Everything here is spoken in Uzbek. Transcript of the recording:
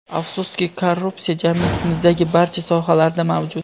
Afsuski, korrupsiya jamiyatimizdagi barcha sohalarda mavjud.